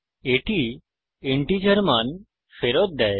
এটি ইন্টিজার মান ফেরত দেয়